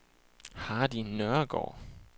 Hardy Nørregaard